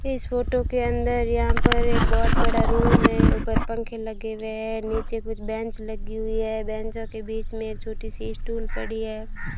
इस फोटो के अंदर यहां पर एक बहुत बड़ा रूम है ऊपर पंखे लगे हुए है नीचे कुछ बेंच लगी हुई है बैंचों के बीच में एक छोटी सी स्टूल पड़ी है।